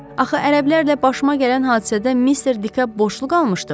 Axı ərəblərlə başıma gələn hadisədə mister Dikap boşluq almışdım.